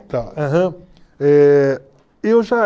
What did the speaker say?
Tá, aham, eh... Eu já